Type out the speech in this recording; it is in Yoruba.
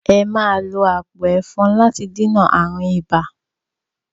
Ẹ máa lo àpò ẹ̀fọn láti dènà ààrùn ibà!